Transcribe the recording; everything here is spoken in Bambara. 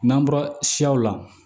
N'an bɔra siyaw la